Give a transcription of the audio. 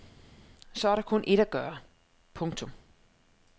Så er der kun ét at gøre. punktum